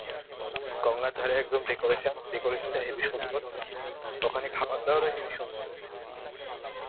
গঙ্গার ধারে একদম decoration. decoration টা হেবি সুন্দর. ওখানে খাবার দাবার ও হেবি সুন্দর.